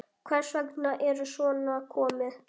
Hvers vegna er svona komið?